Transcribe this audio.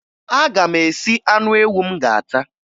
Aga m esi anụ ewu m ga-ata